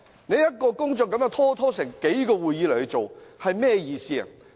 一項工作要拖延數個會議來審議，意義何在？